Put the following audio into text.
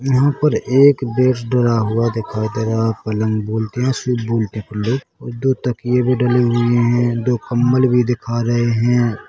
यहाँ पर एक दिखाई दे रहा हैपलंग बोलते हैं दो तकिये भी डले हुए हैं दो कंबल भीदिखा रहे हैं।